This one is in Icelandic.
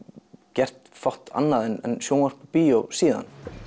gert fátt annað en sjónvarp bíó síðan